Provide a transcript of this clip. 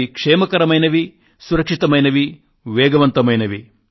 అవి క్షేమకరమైనవి సురక్షితమైనవి వేగవంతమైనవి